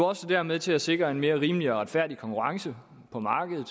også været med til at sikre en mere rimelig og retfærdig konkurrence på markedet